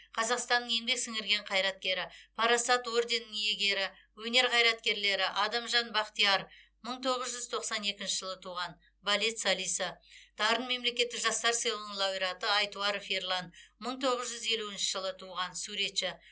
қазақстанның еңбек сіңірген қайраткері парасат орденінің иегері өнер қайраткерлері адамжан бақтияр мың тоғыз жүз тоқсан екінші жылы туған балет солисі дарын мемлекеттік жастар сыйлығының лауреаты айтуаров ерлан мың тоғыз жүз елуінші жылы туған суретші